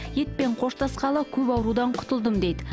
етпен қоштасқалы көп аурудан құтылдым дейді